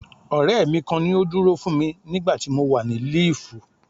Ọ̀rẹ́ mi kan ni ó dúró fún mi nígbà tí mo wà ní líìfù.